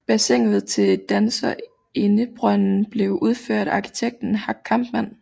Bassinet til Danserindebrønden blev udført af arkitekten Hack Kampmann